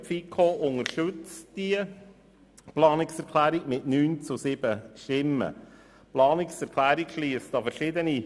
Die FiKo unterstützt diese Planungserklärung mit 9 zu 7 Stimmen.